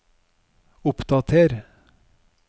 oppdater